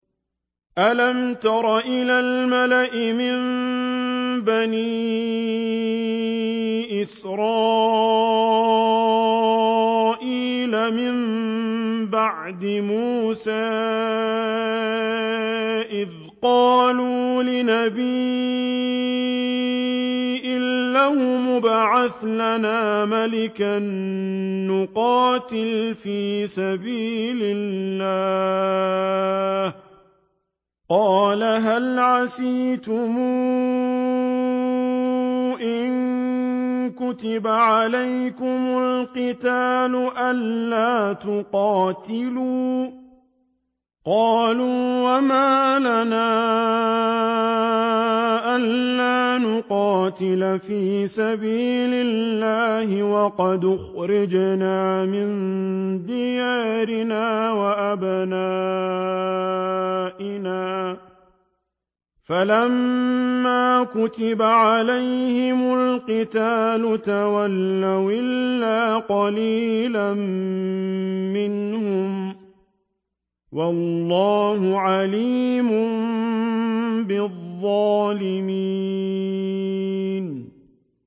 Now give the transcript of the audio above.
أَلَمْ تَرَ إِلَى الْمَلَإِ مِن بَنِي إِسْرَائِيلَ مِن بَعْدِ مُوسَىٰ إِذْ قَالُوا لِنَبِيٍّ لَّهُمُ ابْعَثْ لَنَا مَلِكًا نُّقَاتِلْ فِي سَبِيلِ اللَّهِ ۖ قَالَ هَلْ عَسَيْتُمْ إِن كُتِبَ عَلَيْكُمُ الْقِتَالُ أَلَّا تُقَاتِلُوا ۖ قَالُوا وَمَا لَنَا أَلَّا نُقَاتِلَ فِي سَبِيلِ اللَّهِ وَقَدْ أُخْرِجْنَا مِن دِيَارِنَا وَأَبْنَائِنَا ۖ فَلَمَّا كُتِبَ عَلَيْهِمُ الْقِتَالُ تَوَلَّوْا إِلَّا قَلِيلًا مِّنْهُمْ ۗ وَاللَّهُ عَلِيمٌ بِالظَّالِمِينَ